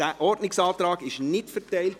Dieser wurde nicht ausgeteilt.